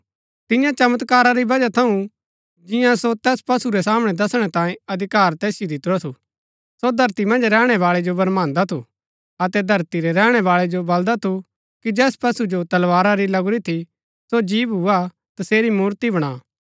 तियां चमत्कारा री वजह थऊँ जिंआं जो तैस पशु रै सामणै दसणै तांयें अधिकार तैसिओ दितुरा थू सो धरती मन्ज रैहणै बाळै जो भरमांदा थू अतै धरती रै रैहणै बाळै जो बलदा थू कि जैस पशु जो तलवारा री लगुरी थी सो जी भूआ तसेरी मूर्ति बणा